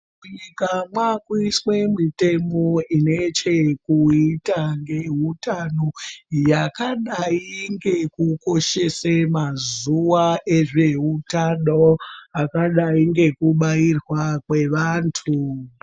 Munyika mwakuiswe mitemo inechekuita ngeutano yakadai ngekukoshese mazuwa ezvehutano akadai ngekubairwa kwevantu.